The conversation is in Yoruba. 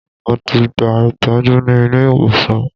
Mo ti gba ìtọ́jú ní ilé-ìwòsàn